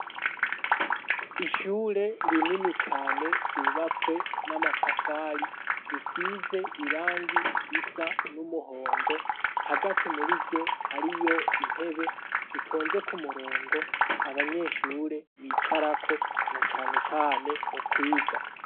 Ishure rinini cane ryubatswe n'amatafari risize irangi risa n'umuhondo, hagati muri ryo hariyo intebe zitonze ku murongo abanyeshure bicarako na cane cane mu kwiga.